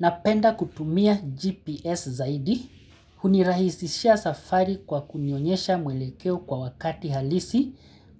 Napenda kutumia GPS zaidi, hunirahisishia safari kwa kunionyesha mwelekeo kwa wakati halisi,